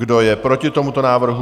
Kdo je proti tomuto návrhu?